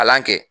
Kalan kɛ